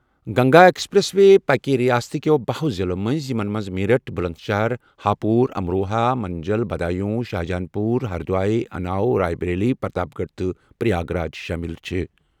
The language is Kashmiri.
گنگا ایکسپریس وے گَژھِ رِیاست کیٚو بہہَ ہن ضِلعن منٛزٕ نیرِتھ یِمن منٛز میرٹھ، بُلنٛدشہر، ہاپوٗر، امروہا، منجل، بدایون، شاہجہاں پوٗر، ہردوئی، اُناو، راے بریلی، پرتاپ گڑھ تہٕ پریاگ راج شٲمِل چھِ۔